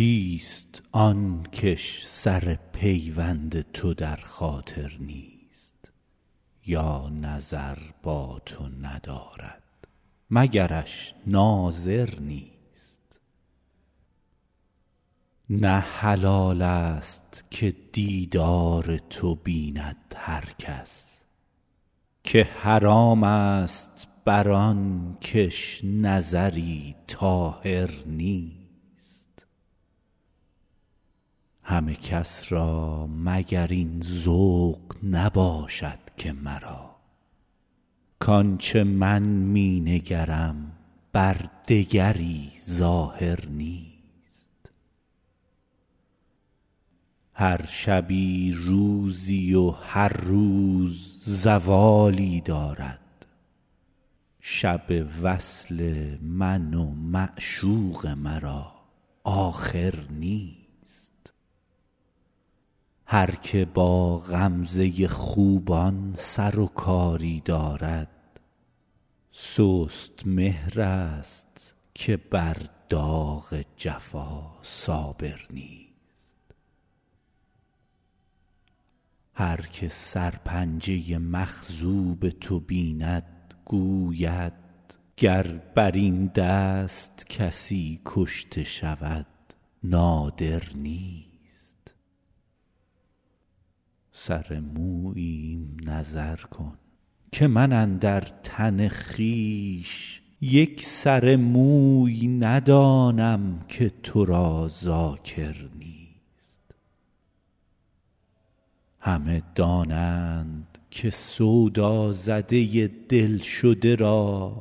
کیست آن کش سر پیوند تو در خاطر نیست یا نظر با تو ندارد مگرش ناظر نیست نه حلال ست که دیدار تو بیند هر کس که حرام ست بر آن کش نظری طاهر نیست همه کس را مگر این ذوق نباشد که مرا کآن چه من می نگرم بر دگری ظاهر نیست هر شبی روزی و هر روز زوالی دارد شب وصل من و معشوق مرا آخر نیست هر که با غمزه خوبان سر و کاری دارد سست مهرست که بر داغ جفا صابر نیست هر که سرپنجه مخضوب تو بیند گوید گر بر این دست کسی کشته شود نادر نیست سر موییم نظر کن که من اندر تن خویش یک سر موی ندانم که تو را ذاکر نیست همه دانند که سودازده دل شده را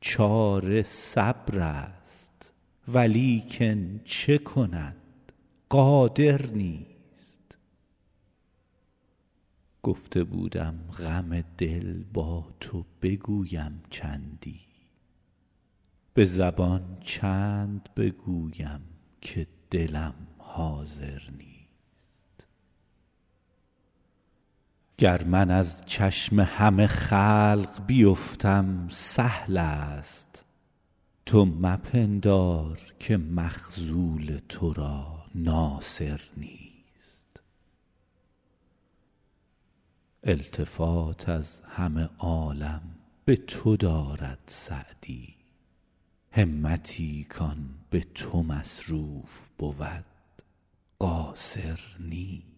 چاره صبرست ولیکن چه کند قادر نیست گفته بودم غم دل با تو بگویم چندی به زبان چند بگویم که دلم حاضر نیست گر من از چشم همه خلق بیفتم سهل ست تو مپندار که مخذول تو را ناصر نیست التفات از همه عالم به تو دارد سعدی همتی کآن به تو مصروف بود قاصر نیست